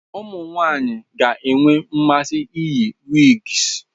Ụmụ nwanyị ka ga-enwe mmasị iyi wigs.